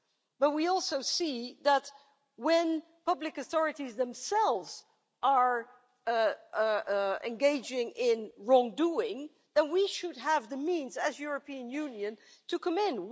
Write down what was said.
But we also see that when public authorities themselves are engaging in wrongdoing, we should have the means, as the European Union, to come in.